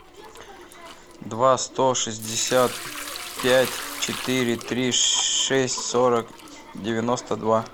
два сто шестьдесят пять четыре три шесть сорок девяносто два